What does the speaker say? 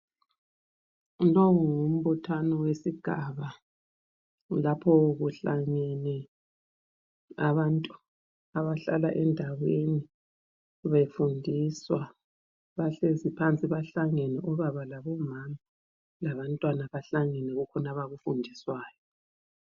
Lowu ngumbuthano wesigaba lapho kuhlangene abantu abahlala endaweni befundiswa. Bahlezi phansi bahlangene obaba labomama labantwana bahlangene kukhona abakufundiswayo.